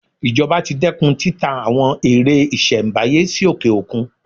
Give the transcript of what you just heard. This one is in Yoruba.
Ìjọba ti dẹ́kun títa àwọn ère ìṣelm̀báyé sí òkè-òkun.